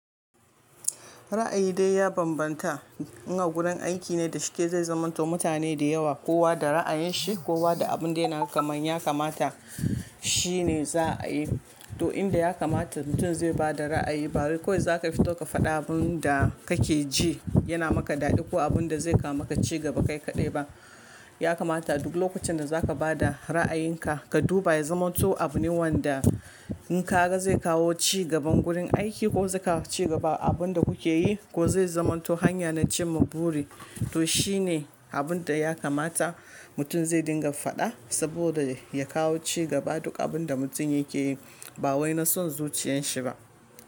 Ra'ayi dai ya bambanta. In a gurin aiki ne da shike zai zamanto mutane da yawa, kowa da ra'ayin shi, kowa da abin da yana kamanya kamata shi ne za a yi. To inda ya kamata mutum zai ba da ra'ayi, ba wai kawai za ka fito ka faɗa abin da kake ji yana maka daɗi ko abin da zai kawo maka ci gaba kai kaɗai ba. Ya kamata duk lokacin da za ka ba da ra'ayinka ka duba ya zamanto abin wanda in ka ga zai kawo cigaban gurin aiki ko zai kawo cigaba abin da kuke yi ko zai zamanto hanya na cimma buri. To shi ne abin da ya kamata mutum zai dinga faɗa saboda ya kawo cigaba duk abin da mutum yake yi, ba wai na son zuciyan shi ba.